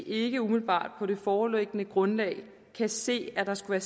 ikke umiddelbart på det foreliggende grundlag kan se at der skulle